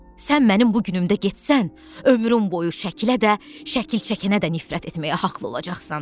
Sən mənim bu günümdə getsən, ömrüm boyu şəkilə də, şəkil çəkənə də nifrət etməyə haqlı olacaqsan.